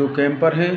दो कैम्पर हैं।